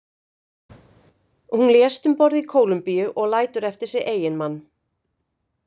Hún lést um borð í Kólumbíu og lætur eftir sig eiginmann.